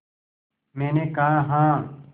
मैंने कहा हाँ